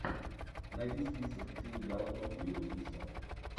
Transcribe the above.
найди список где играл том уилкинсон